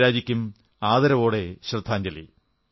ഇന്ദിരാജിക്കും ആദരവോടെ ശ്രദ്ധാഞ്ജലി